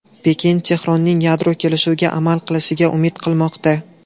Pekin Tehronning yadro kelishuviga amal qilishiga umid qilmoqda.